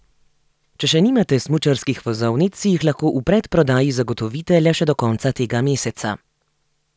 Če še nimate smučarskih vozovnic, si jih lahko v predprodaji zagotovite le še do konca tega meseca.